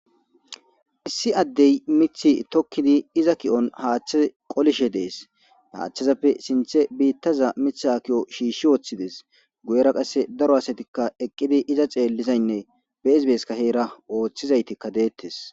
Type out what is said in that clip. Issi addey mith tokkidi iza ki'on haaththe qolishe dees haachthezappe sinthe biittaza mith ha ki'o shiishi ooththides guyera qasse daro asatikka eqqidi iza xeellizaynne beesbeeska heera ooththizaytikka deettes.